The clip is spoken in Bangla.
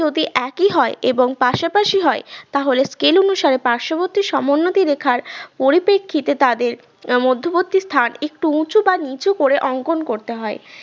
যদি একই হয় এবং পাশাপাশি হয় তাহলে scale অনুসারে পার্শ্ববর্তী সমোন্নতি রেখার পরিপ্রেক্ষিতে তাদের আহ মধ্যবর্তী স্থান একটু উঁচু বা নিচু করে অঙ্কন করতে হয়